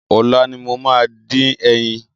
Ọ̀la ni mo máa dín ẹyin.